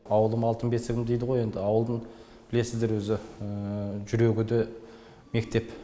ауылым алтын бесігім дейді ғой енді ауылдың білесіздер өзі жүрегі де мектеп